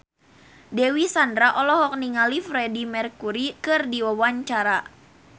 Dewi Sandra olohok ningali Freedie Mercury keur diwawancara